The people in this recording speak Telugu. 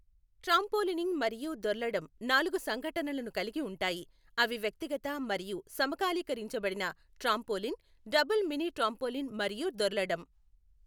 ట్రామ్పోలీనింగ్ మరియు దొర్లడం నాలుగు సంఘటనలను కలిగి ఉంటాయి, అవి వ్యక్తిగత మరియు సమకాలీకరించబడిన ట్రాంపోలిన్, డబుల్ మినీ ట్రాంపోలిన్ మరియు దొర్లడం.